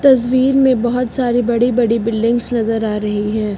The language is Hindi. तस्वीर में बहोत सारी बड़ी बिल्डिंग्स नजर आ रही है।